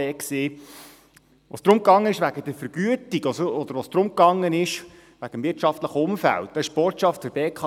Als es um die Vergütungen und das wirtschaftliche Umfeld ging, war die Botschaft der BKW: